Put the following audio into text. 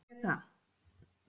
Þá geri ég það.